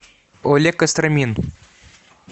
олег костромин